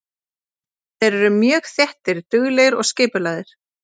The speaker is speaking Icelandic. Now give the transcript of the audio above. Þeir eru mjög þéttir, duglegir og skipulagðir.